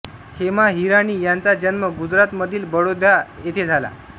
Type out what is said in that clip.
हेमा हिराणी यांचा जन्म गुजरात मधील बडोद्या येथे झाला